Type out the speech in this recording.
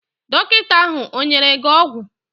Dọkịta ahụ ọ nyere gị ọgwụ?